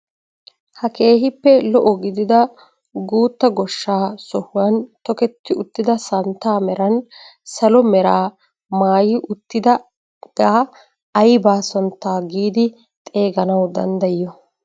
Ha keehippe lo"o giigidi guuttaa goshsha sohuwan toketti uttida santtaa meran salo meraa maayii uttidagaa aybaa santtaa giidi xeeganawu danddayiyoo?